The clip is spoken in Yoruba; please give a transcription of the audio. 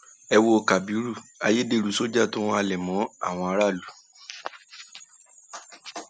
ẹ wo kábírú ayédèrú sójà tó ń halẹ máwọn aráàlú